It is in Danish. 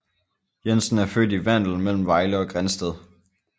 Jensen er født i Vandel mellem Vejle og Grindsted